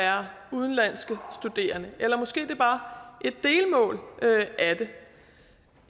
udenlandske studerende eller måske er det bare et delmål af det